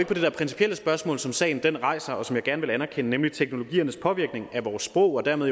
på det principielle spørgsmål som sagen rejser og som jeg gerne vil anerkende nemlig teknologiernes påvirkning af vores sprog og dermed